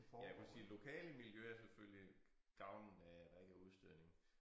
Ja for at sige lokale miljøer er selvfølgelig gavnede af at der ikke er udstødning